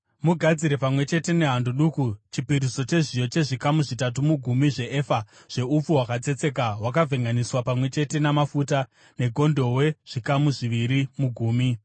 Mugadzire pamwe chete nehando duku chipiriso chezviyo chezvikamu zvitatu mugumi zveefa yeupfu hwakatsetseka hwakavhenganiswa pamwe chete namafuta, negondobwe, zvikamu zviviri mugumi ;